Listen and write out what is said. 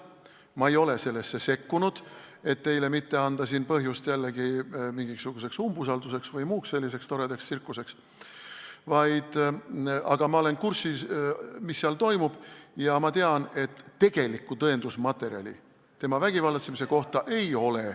Ma ei ole sellesse sekkunud, et mitte anda teile põhjust jällegi mingisuguseks umbusalduse avaldamiseks või muuks selliseks toredaks tsirkuseks, aga ma olen kursis, mis seal toimub, ja ma tean, et tegelikku tõendusmaterjali tema vägivallatsemise kohta ei ole.